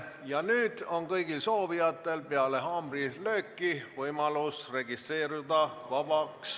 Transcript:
Ja nüüd on kõigil soovijatel peale haamrilööki võimalus registreeruda sõnavõtuks vabas mikrofonis.